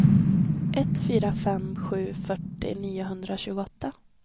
ett fyra fem sju fyrtio niohundratjugoåtta